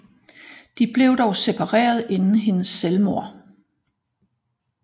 De blev dog separeret inden hendes selvmord